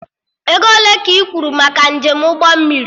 Ego ole ka ị kwuru maka njem ụgbọ mmiri?